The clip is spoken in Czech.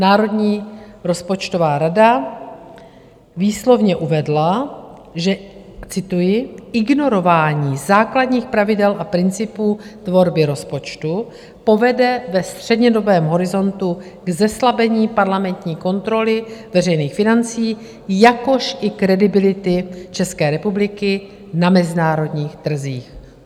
Národní rozpočtová rada výslovně uvedla, že - cituji: "Ignorování základních pravidel a principů tvorby rozpočtu povede ve střednědobém horizontu k zeslabení parlamentní kontroly veřejných financí, jakož i kredibility České republiky na mezinárodních trzích."